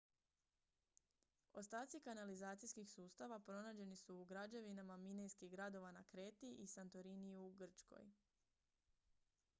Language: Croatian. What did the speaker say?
ostaci kanalizacijskih sustava pronađeni su u građevinama minejskih gradova na kreti i santoriniju u grčkoj